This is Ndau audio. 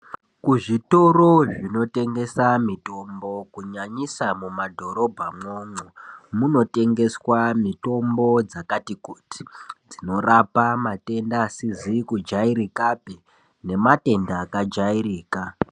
Kuzvitoro zvinotengesa mitombo kunyanyisa mumadhorobha mwomwo , munotengeswa mitombo dzakati kuti dzinorapa matenda asizi kujairikapi nematenda akajairika .